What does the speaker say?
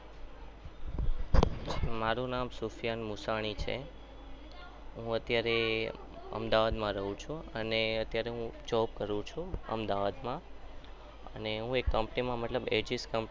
મારું નામ સોફિયન મુસાની છે. હું અત્યારે અમદાવાદમાં રહું છું અને અત્યારે હું job કરું છું અમદાવાદમાં અને હું એક company માં મતલબ hs company મા